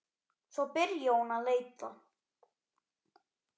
Svo byrjaði hún að leita.